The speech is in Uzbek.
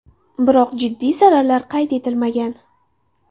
Biroq jiddiy zararlar qayd etilmagan.